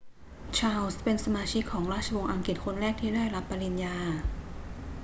ชาร์ลส์เป็นสมาชิกของราชวงศ์อังกฤษคนแรกที่ได้รับปริญญา